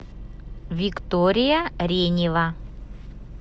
виктория ренева